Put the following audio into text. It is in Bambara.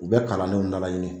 U bɛ kalannenw nalaɲini.